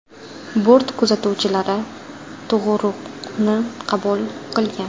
Bort kuzatuvchilari tug‘uruqni qabul qilgan.